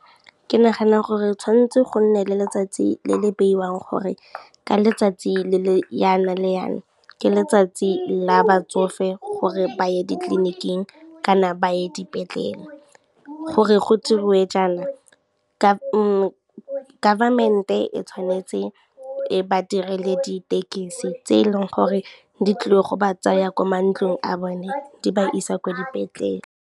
Ke nagana gore tshwanetse go nne le letsatsi le le beiwang gore ka letsatsi le le yana le yana, ke letsatsi la batsofe gore ba ye ditleniking kana ba ye dipetlela. Gore go dirwe jaana government e tshwanetse e ba direle ditekesi tse e leng gore di tlile go ba tsaya ko mantlong a bone di ba isa kwa dipetlele.